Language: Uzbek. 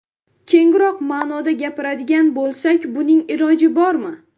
Kengroq ma’noda gapiradigan bo‘lsak, buning iloji bormi?